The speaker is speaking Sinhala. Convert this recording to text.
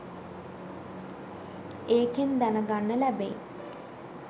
ඒකෙන් දැනගන්න ලැබෙයි